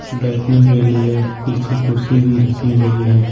बैठने के लिए पीछे कुर्सी भी रखी गई है।